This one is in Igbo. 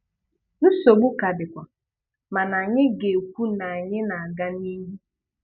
Nsogbu ka dịkwa, mana anyi ga-ekwu na anyị na-aga n'ihu.